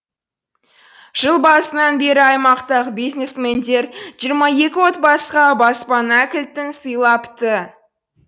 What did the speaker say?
жыл басынан бері аймақтағы бизнесмендер жиырма екі отбасыға баспана кілтін сыйлапты